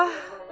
Ah!